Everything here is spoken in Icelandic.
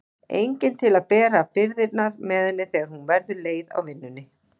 Enginn til að bera byrðarnar með henni þegar hún verður leið á vinnunni.